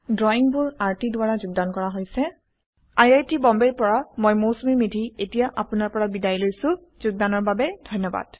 ড্ৰৱিংবোৰ আৰটি দ্ৱাৰা যোগদান কৰা হৈছে আই আই টী বম্বে ৰ পৰা মই মৌচুমী মেধী এতিয়া আপুনাৰ পৰা বিদায় লৈছো যোগদানৰ বাবে ধন্যবাদ